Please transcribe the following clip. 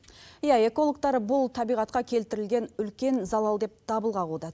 иә экологтар бұл табиғатқа келтірілген үлкен залал деп дабыл қағуда